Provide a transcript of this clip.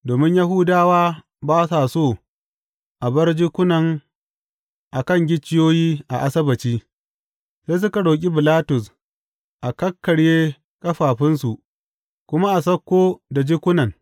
Domin Yahudawa ba sa so a bar jikunan a kan gicciyoyi a Asabbaci, sai suka roƙi Bilatus a kakkarye ƙafafunsu kuma sauko da jikunan.